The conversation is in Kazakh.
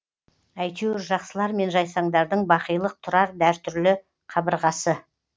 әйтеуір жақсылар мен жайсаңдардың бақилық тұрар дәртүрлі қабырғасы